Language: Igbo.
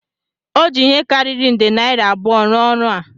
O ji ihe karịrị nde naira abụọ rụọ ọrụ a